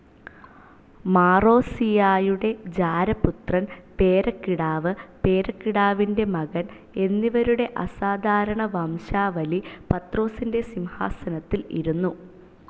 മാറോസിയായുടെ ജാരപുത്രൻ, പേരക്കിടാവ്, പേരക്കിടാവിൻ്റെ മകൻ എന്നിവരുടെ അസാധാരണവംശാവലി പത്രോസിൻ്റെ സിംഹാസനത്തിൽ ഇരുന്നു.